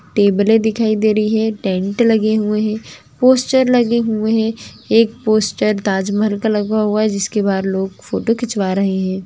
टेबले दिखाई दे रही है टेंट लगे हुए है पोस्टर है एक पोस्टर ताजमहल का लगा हुआ है जिसके बहार लोग फोटो खिचबा रहे है|